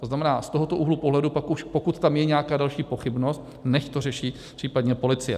To znamená, z tohoto úhlu pohledu pak už pokud tam je nějaká další pochybnost, nechť to řeší případně policie.